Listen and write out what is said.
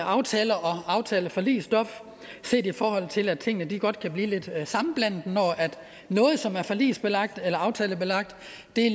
aftaler og aftaleforligsstof i forhold til at tingene godt kan blive lidt sammenblandet når noget som er forligs eller eller aftalebelagt